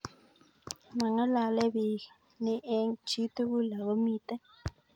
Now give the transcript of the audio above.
Mangalale biik ni eng' chii tugul ako miten.